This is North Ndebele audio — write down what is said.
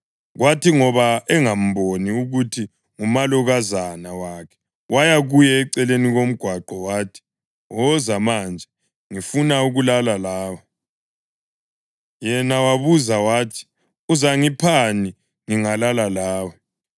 Kwathi ngoba engamboni ukuthi ngumalokazana wakhe waya kuye eceleni komgwaqo wathi, “Woza manje, ngifuna ukulala lawe.” Yena wabuza wathi, “Uzangiphani ngingalala lawe?”